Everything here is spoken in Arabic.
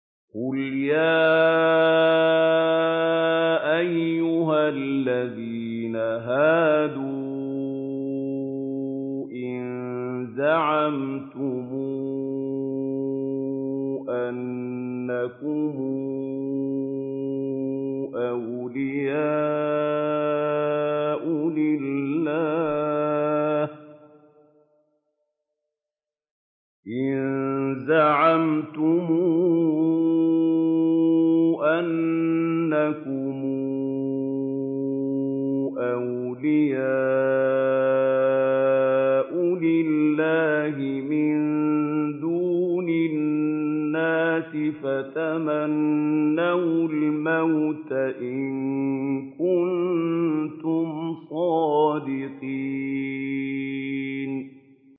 قُلْ يَا أَيُّهَا الَّذِينَ هَادُوا إِن زَعَمْتُمْ أَنَّكُمْ أَوْلِيَاءُ لِلَّهِ مِن دُونِ النَّاسِ فَتَمَنَّوُا الْمَوْتَ إِن كُنتُمْ صَادِقِينَ